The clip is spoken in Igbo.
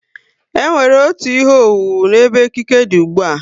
E nwere otú ihe owuwu n'ebe ekike dị ùgbúà